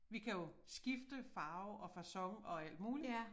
Vi kan jo skifte farve og facon og alt muligt